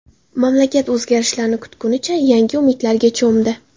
Mamlakat o‘zgarishlarni kutganicha yangi umidlarga cho‘mdi.